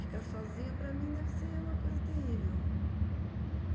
Ficar sozinha, para mim, deve ser uma coisa terrível.